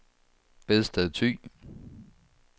Bedsted Thy